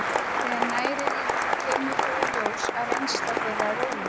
Þegar nær er litið kemur þó í ljós að reynsla þeirra er ólík.